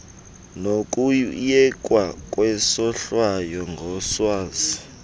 nokuyekwa kwesohlwayo ngoswazi